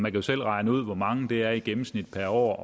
jo selv regne ud hvor mange det er i gennemsnit per år